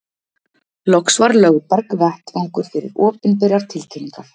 loks var lögberg vettvangur fyrir opinberar tilkynningar